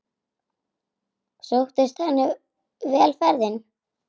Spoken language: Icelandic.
Sóttist henni vel ferðin.